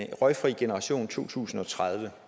en røgfri generation i to tusind og tredive